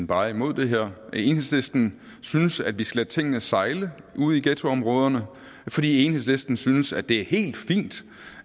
bare er imod det her at enhedslisten synes at vi skal lade tingene sejle ude i ghettoområderne for enhedslisten synes at det er helt fint